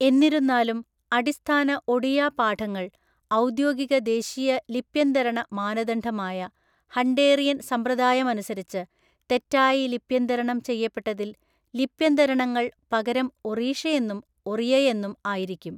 എന്നിരുന്നാലും, അടിസ്ഥാന ഒഡിയ പാഠങ്ങൾ ഔദ്യോഗിക ദേശീയ ലിപ്യന്തരണ മാനദണ്ഡമായ ഹണ്ടേറിയൻ സമ്പ്രദായമനുസരിച്ച് തെറ്റായി ലിപ്യന്തരണം ചെയ്യപ്പെട്ടതിൽ ലിപ്യന്തരണങ്ങള്‍ പകരം ഒറീഷയെന്നും ഒറിയയെന്നും ആയിരിക്കും.